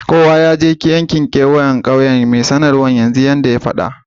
Kowa ya je keweyen ƙauyen yanzu! Mai sanarwan ƙauyen ya ce.